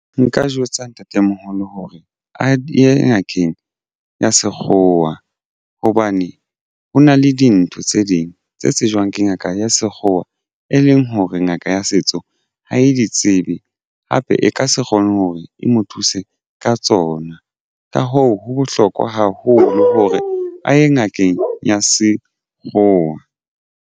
Nka jwetsa ntatemoholo hore a ye ngakeng ya sekgowa hobane ho na le dintho tse ding tse tsejwang ke ngaka ya sekgowa e leng hore ngaka ya se setso ha e di tsebe hape e ka se kgone hore e mo thuse ka tsona. Ka hoo ho bohlokwa haholo hore a ye ngakeng ya sekgowa.